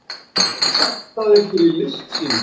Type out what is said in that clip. Sektaðir fyrir listsýningu